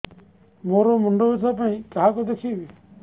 ମୋର ମୁଣ୍ଡ ବ୍ୟଥା ପାଇଁ କାହାକୁ ଦେଖେଇବି